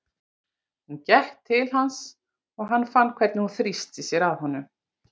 Hún gekk til hans og hann fann hvernig hún þrýsti sér að honum.